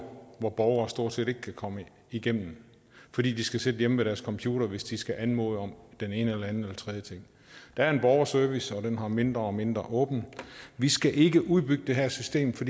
hvor borgerne stort set ikke kan komme igennem fordi de skal sidde hjemme ved deres computere hvis de skal anmode om den ene eller anden eller tredje ting der er en borgerservice og den har mindre og mindre åbent vi skal ikke udbygge det her system for